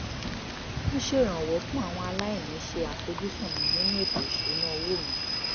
ń ṣèrànwọ́ fún àwọn aláìní ṣe àfojúsùn mi nínú ètò ìṣúnná owó mi